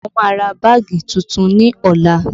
Mo má ra báàgì tuntun ní ọ̀la